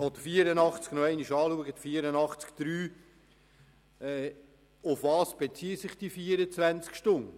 Worauf beziehen sich die genannten 24 Stunden?